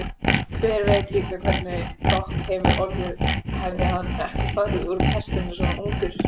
Hver veit líka hvernig Dogg hefði orðið hefði hann ekki farið úr pestinni svona ungur.